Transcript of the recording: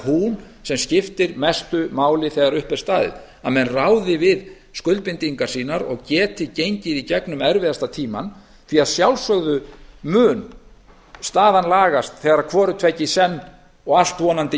hún sem skiptir mestu máli þegar upp er staðið að menn ráði við skuldbindingar sínar og geti gengið í gegnum erfiðasta tímann því að að sjálfsögðu mun staðan lagast þegar hvort tveggja í senn og allt vonandi